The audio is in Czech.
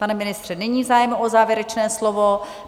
Pane ministře, není zájem o závěrečné slovo?